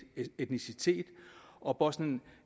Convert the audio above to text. etnicitet og bosnien